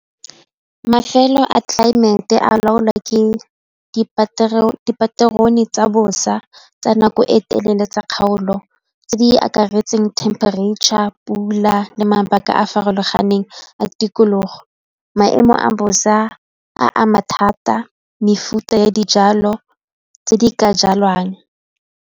Mafelo a tlelaemete a laolwa ke dipaterone tsa bosa tsa nako e telele tsa kgaolo tse di akaretseng temperature a pula le mabaka a a farologaneng a tikologo. Maemo a bosa a ama thata mefuta ya dijalo tse di ka jalwang.